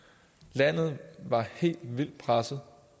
landet var helt vildt presset